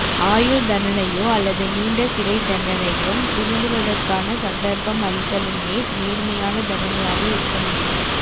ஆயுள் தண்டனையோ அல்லது நீண்ட சிறைத் தண்டனையும் திருந்துவதற்கான சந்தர்ப்பம் அளித்தலுமே நேர்மையான தண்டனையாக இருக்க முடியும